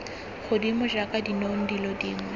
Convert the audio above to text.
godimo jaaka dinong dilo dingwe